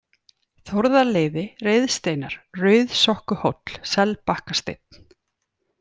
Þórðarleiði, Reiðsteinar, Rauðsokkuhóll, Selbakkasteinn